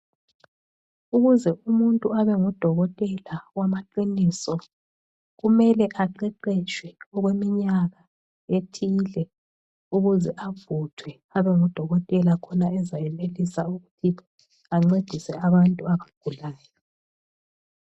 Ukuze umuntu abengudokotela wamaqiniso, kumele aqeqetshe okweminyaka ethile ukuze avuthwe, abengudokotela khona ezayenelisa ukuthi ancedise abantu abagulayo.